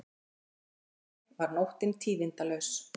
Að öðru leyti var nóttin tíðindalaus